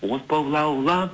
от боп лаулап